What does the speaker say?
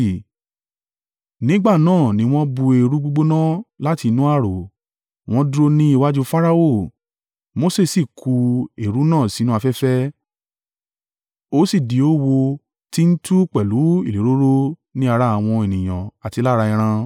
Nígbà náà ni wọ́n bú eérú gbígbóná láti inú ààrò, wọ́n dúró ní iwájú Farao. Mose sì ku eérú náà sínú afẹ́fẹ́, ó sì di oówo tí ń tú pẹ̀lú ìléròrò ni ara àwọn ènìyàn àti lára ẹran.